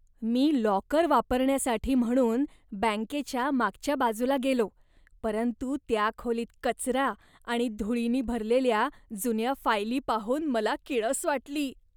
मी locker वापरण्यासाठी म्हणून बँकेच्या मागच्या बाजूला गेलो, परंतु त्या खोलीत कचरा आणि धुळीनी भरलेल्या जुन्या फायली पाहून मला किळस वाटली.